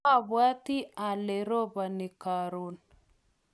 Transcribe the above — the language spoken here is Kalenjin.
mabwoti ale roboni karon